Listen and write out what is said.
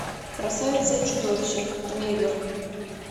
красавица и чудовище трейлер